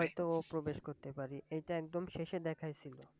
হয়তো ও প্রবেশ করতে পারে। এইটা একদম শেষে দেখায়ছিল।